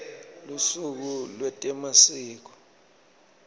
lusuku lwetemasiko